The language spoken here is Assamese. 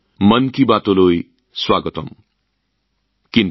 মন কী বাতলৈ আদৰণি জনাইছো